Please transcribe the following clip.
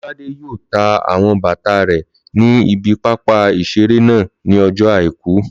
Lọ́ládé yóò ta àwọn bàtà rẹ̀ ní ibi pápá ìseré náà ní ọjọ́ àìkú